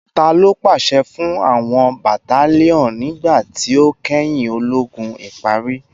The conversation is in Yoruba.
Talo paṣẹ fun awọn battalion nigba ti o kẹhin ologun ipari?